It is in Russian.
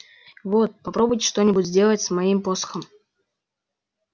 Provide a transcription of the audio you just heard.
вот попробуйте что-нибудь сделать с моим посохом